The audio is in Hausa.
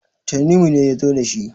tanimu ne ya zo da shi